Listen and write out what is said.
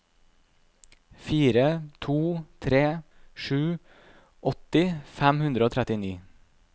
fire to tre sju åtti fem hundre og trettini